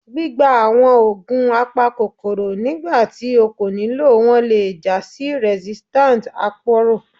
Gbigba awọn oogun apakokoro nigbati o ko nilo wọn le ja si resistance aporo.